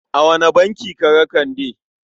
A wane banki ka ga Kande?